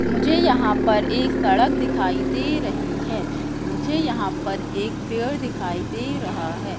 मुझे यहां पर एक सड़क दिखाई दे रही है मुझे यहां पर एक पेड़ दिखाई दे रहा है।